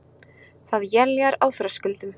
Það éljar á Þröskuldum